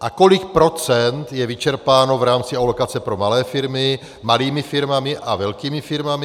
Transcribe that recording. a kolik procent je vyčerpáno v rámci alokace pro malé firmy malými firmami a velkými firmami.